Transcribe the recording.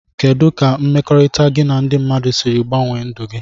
Kedụ ka mmekọrita gi na ndi mmadụ siri gbanwe ndụ gi.